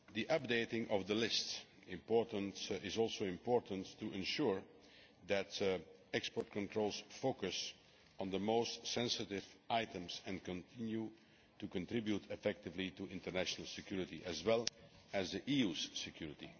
Updating the list is also important to ensure that export controls focus on the most sensitive items and continue to contribute effectively to international security as well as to the EU's security.